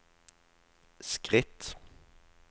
skritt